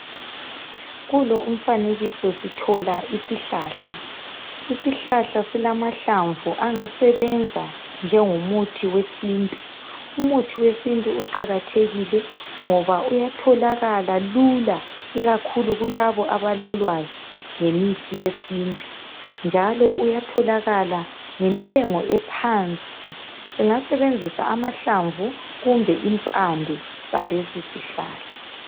kulo umfanekiso sithola isihlahla isihlahla silamahlamvu angasebenza njengomuthi wesintu umuthi wesintu uqakathekile ngoba uyatholakala lula ikakhulu kulaba abalolwaz ngemithi yesintu njalo uyatholakala ngentengo ephansi singasebenzisa amahamvu kumbe impande zalesi isihlahla